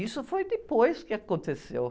Isso foi depois que aconteceu.